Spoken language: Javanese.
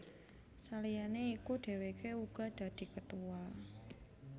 Saliyane iku dheweke uga dadi Ketua